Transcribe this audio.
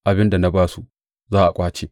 Abin da na ba su za a ƙwace.’